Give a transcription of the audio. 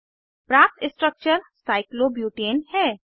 प्राप्त structure cyclobutane है